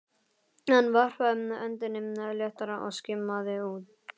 Hann varpaði öndinni léttar og skimaði út.